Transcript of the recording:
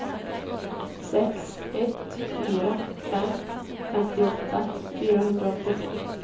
sex ett fyra fem femtioåtta fyrahundraåttiotre